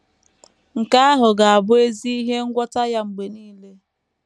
Nke ahụ ga - abụ ezi ihe ngwọta ya mgbe nile. ”